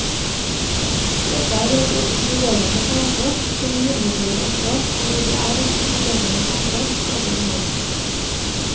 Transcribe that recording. Dette er et inkluderende samfunn som imidlertid også, fordi det er et inkluderende samfunn, støter noen ut.